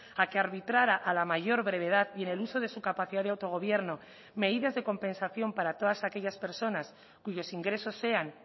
a que arbitrara a la mayor brevedad y en el uso de su capacidad de autogobierno medidas de compensación para todas aquellas personas cuyos ingresos sean